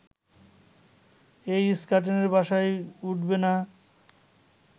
এই ইস্কাটনের বাসায় উঠবে না